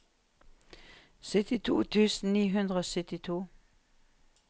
syttito tusen ni hundre og syttito